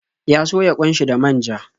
Ya soya ƙwan shi da manja.